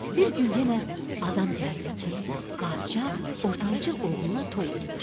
Bir gün yenə adam gəldi ki, padşah ortancıl oğluna toy eləyir.